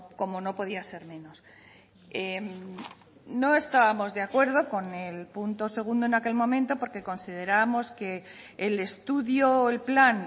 como no podía ser menos no estábamos de acuerdo con el punto segundo en aquel momento porque considerábamos que el estudio o el plan